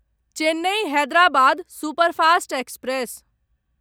Chennai Hyderabad superfast express